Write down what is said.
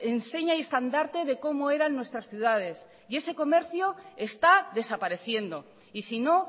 enseña y estandarte de cómo eran nuestras ciudades y ese comercio está desapareciendo y si no